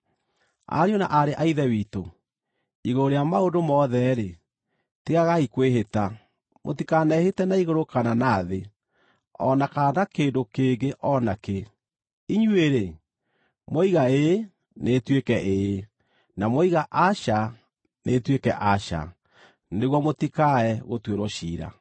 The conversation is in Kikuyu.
Ariũ na aarĩ a Ithe witũ, igũrũ rĩa maũndũ mothe-rĩ, tigagai kwĩhĩta. Mũtikanehĩte na igũrũ kana na thĩ, o na kana na kĩndũ kĩngĩ o na kĩ. Inyuĩ-rĩ, mwoiga “Ĩĩ” nĩĩtuĩke ĩĩ, na mwoiga “Aca” nĩĩtuĩke aca, nĩguo mũtikae gũtuĩrwo ciira.